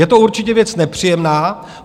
Je to určitě věc nepříjemná.